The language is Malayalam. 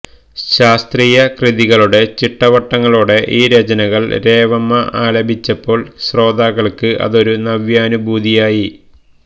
ശാസ്ത്രീയ കൃതികളുടെ ചിട്ടവട്ടങ്ങളോടെ ഈ രചനകൾ രേവമ്മ ആലപിച്ചപ്പോൾ ശ്രോതാക്കൾക്ക് അതൊരു നവ്യാനുഭൂതിയായി